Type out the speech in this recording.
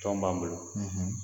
Tɔn b'an bolo